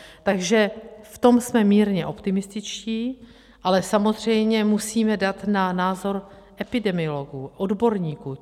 Takže v tom jsme mírně optimističtí, ale samozřejmě musíme dát na názor epidemiologů, odborníků.